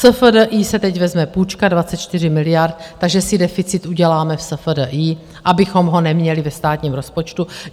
SFDEI se teď vezme půjčka 24 miliard, takže si deficit uděláme v SFDI, abychom ho neměli ve státním rozpočtu.